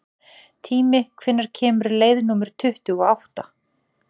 Tími, hvenær kemur leið númer tuttugu og átta?